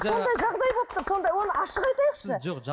сондай жағдай болып тұр сонда оны ашық айтайықшы сіз жоқ